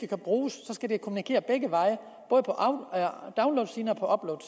kunne bruges skal det kommunikere begge veje både på downloadsiden og på